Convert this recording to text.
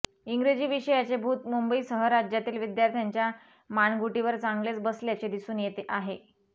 इंग्रजी विषयाचे भूत मुंबईसह राज्यातील विद्यार्थ्यांच्या मानगुटीवर चांगलेच बसल्याचे दिसून येत आहे